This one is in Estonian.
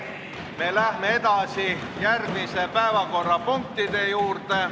Me läheme edasi järgmiste päevakorrapunktide juurde.